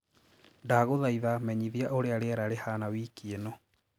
ndagũthaĩtha menyithia ũrĩa rĩera rĩhana wĩkĩ ino